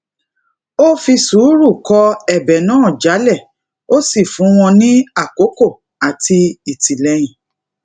o fi suuru kọ ebe naa jálẹ ó sì fún wọn ní àkókò àti ìtìlẹyìn